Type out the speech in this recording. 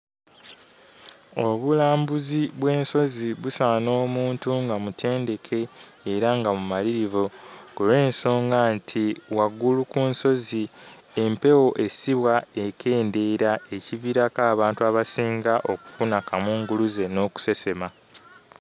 Obulambuzi bw'ensozi busaana omuntu nga mutendeke era nga mumalirivu ku lw'ensonga nti, waggulu ku nsozi empewo essibwa ekendeera, ekiviirako abantu abasinga okufuna kamunguluze n'okusesema.